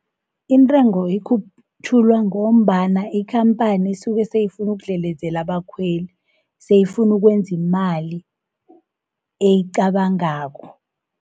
Intengo ikhutjhulwa ngombana ikhampani isuke seyifunu ukudlelezela abakhweli, seyifunu ukwenzi imali eyicabangako.